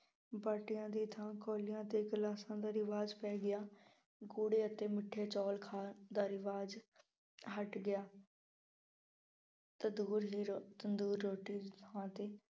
ਬਾਟਿਆਂ ਦੀ ਥਾਂ ਕੌਲਿਆਂ ਅਤੇ ਗਿਲਾਸਾਂ ਦਾ ਰਿਵਾਜ਼ ਪੈ ਗਿਆ। ਗੂੜੇ ਅਤੇ ਮਿੱਠੇ ਚੌਲ ਖਾਣ ਦਾ ਰਿਵਾਜ਼ ਹੱਟ ਗਿਆ। ਤੰਦੂਰ ਦੀ ਰੋ ਤੰਦੂਰ ਰੋਟੀ ਥਾਂ ਤੇ